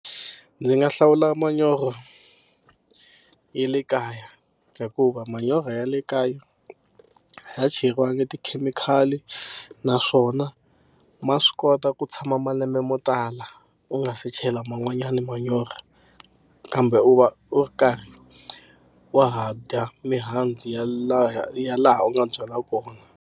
Ndzi nga hlawula manyoro ya le kaya hikuva manyora ya le kaya a ya cheriwangi tikhemikhali naswona ma swi kota ku tshama malembe mo tala u nga se chela man'wanyana manyoro kambe u va u karhi wa ha dya mihandzu ya lahaya ya laha u nga byala kona.